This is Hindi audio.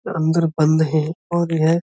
अदर बंद है और यह--